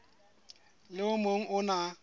le o mong o na